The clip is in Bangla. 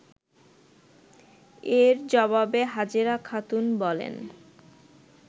এর জবাবে হাজেরা খাতুন বলেন